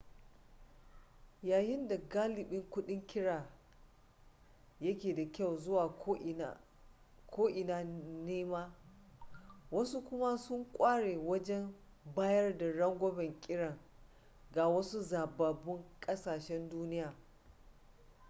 yayin da galibin kudin kira yake da kyau zuwa ko ina nema wasu kuma sun kware wajen bayar da rangwamen kiran ga wasu zababbun kasashen duniya